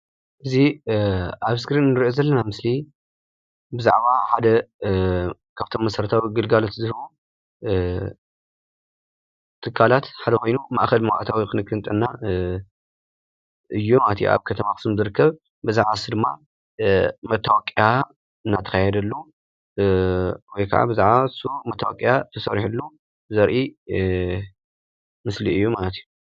እዚ ኣብ ስክሪን ንርእዮ ዘለና ምስሊ ብዛዕባ ሓደ ካብቶም መሰረታዊ ግልጋሎት ዝህቡ ትካላት ሓደ ኾይኑ ፣ማእኸል መባእታዊ ኽንክን ጥዕና እዩ ማለት እዩ። ኣብ ከተማ ኣኹሱም ዝርከብ ብዛዕባ ንሱ ድማ መታወቅያ እናተኻየደሉ ወይ ካዓ ብዛዕባ ንሱ መታወቅያ ተሰሪሕሉ ዘርኢ ምስሊ እዩ ማለት እዩ።